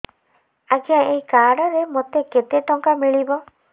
ଆଜ୍ଞା ଏଇ କାର୍ଡ ରେ ମୋତେ କେତେ ଟଙ୍କା ମିଳିବ